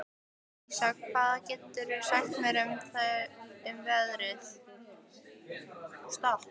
Vísa, hvað geturðu sagt mér um veðrið?